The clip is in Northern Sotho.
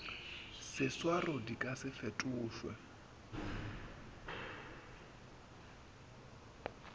seswaro di ka se fetošwe